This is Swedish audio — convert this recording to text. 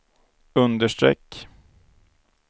understreck